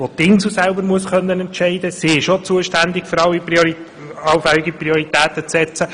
Die Insel muss auch selber entscheiden können, denn auch sie ist zuständig dafür, hier allfällige Prioritäten zu setzen.